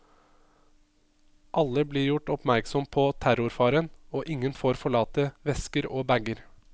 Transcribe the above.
Alle blir gjort oppmerksom på terrorfaren, og ingen får forlate vesker og bager.